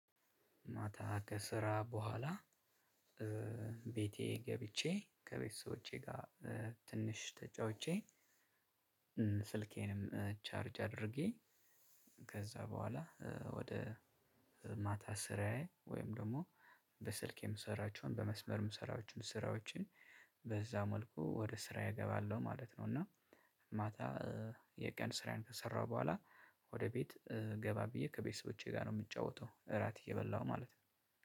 ማታ ከስራ በኋላ ቤቴ ገብቼ ከቤተሰቦቼ ጋር ትንሽ ተጫውቼ ስልኬንም ቻርጅ አድርጌ። ከዛ በኋላ ወደ ማታ ስራዬ ወይም ደግሞ በስልክ የምሰራቸውን በመስመር የምሰራቸውን ስራዎችን በዛ መልኩ ወደ ስራዬ እገባለሁ ማለት ነው። እና ማታ የቀን ስራዬን ከሰራሁ በኋላ ወደ ቤት ገባ ብዬ ከቤተሰቦቼ ጋር ነው የምጫወተው። እራት እየበላሁ ማለት ነው